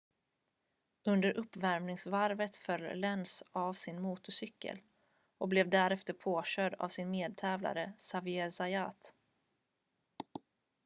under uppvärmningsvarvet föll lenz av sin motorcykel och blev därefter påkörd av sin medtävlare xavier zayat